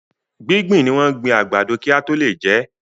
Gbígbìn ni wọ́n gbin àgbàdo kí a tó lè jẹ́.